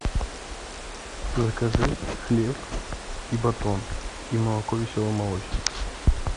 закажи хлеб и батон и молоко веселый молочник